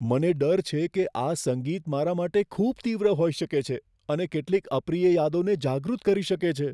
મને ડર છે કે આ સંગીત મારા માટે ખૂબ તીવ્ર હોઈ શકે છે અને કેટલીક અપ્રિય યાદોને જાગૃત કરી શકે છે.